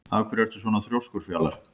Af hverju ertu svona þrjóskur, Fjalar?